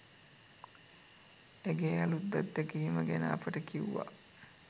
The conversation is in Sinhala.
ඇගේ අලුත් අත්දැකීම ගැන අපට කිව්වා.